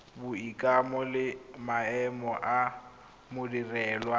boikanyo le maemo a modirelwa